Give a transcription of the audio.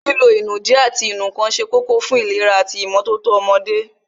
Lílo ìnùdí ati ìnù ǹkan se kókó fún ìlera ati ìmótótó ọmọdé